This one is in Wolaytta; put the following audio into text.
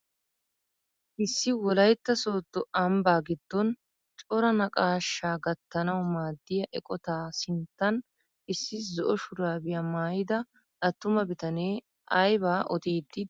Issi wolaytta sooddo ambbaa giddon coraa naqashshaa gattanawu maaddiyaa eqotaa sinttan issi zo'o shurabiyaa maayida attuma bitanee aybaa odiiddi de'ii?